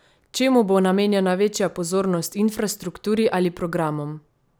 Čemu bo namenjena večja pozornost, infrastrukturi ali programom?